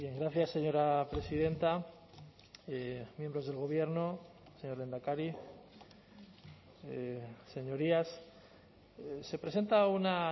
gracias señora presidenta miembros del gobierno señor lehendakari señorías se presenta una